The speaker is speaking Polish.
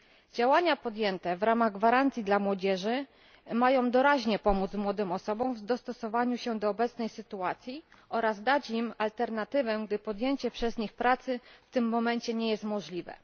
Działania podjęte w ramach gwarancji dla młodzieży mają doraźnie pomóc młodym osobom w dostosowaniu się do obecnej sytuacji oraz dać im alternatywę, gdy podjęcie przez nich pracy w tym momencie nie jest możliwe.